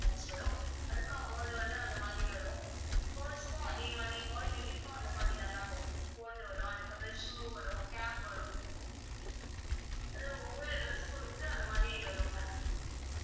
அதுக்கு amount வந்து அந்த மாதிரி வரும் boys க்கும் அதே மாதிரி boy baby க்கும் அந்த மாதிரிதான் ma'am இருக்கும் coat வரும் அதுக்கப்புறம் shoe வரும் cap வரும் அதுவும் ஒவ்வொரு dress பொறுத்து அந்த மாதிரி வரும் ma'am